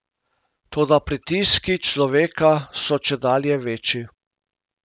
Toda pritiski človeka so čedalje večji.